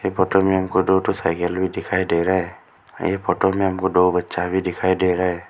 Photo में हम को दो तो साइकिल भी दिखाई दे रहा है यह फोटो में हमको दो बच्चा भी दिखाई दे रहा है।